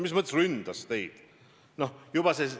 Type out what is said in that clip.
Mis mõttes ründas teid?